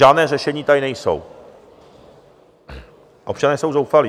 Žádná řešení tady nejsou, občané jsou zoufalí.